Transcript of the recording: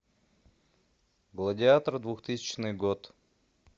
гладиатор двухтысячный год